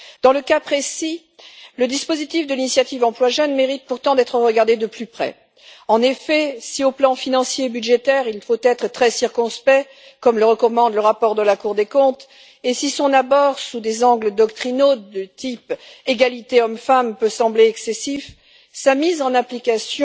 Dans ce cas précis, le dispositif de l'initiative pour l'emploi des jeunes mérite pourtant d'être examiné de plus près. En effet, si sur le plan financier et budgétaire, il faut être très circonspect, comme le recommande le rapport de la Cour des comptes, et si son abord sous des angles doctrinaux de type égalité hommes femmes peut sembler excessif, sa mise en application